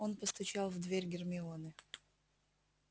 он постучал в дверь гермионы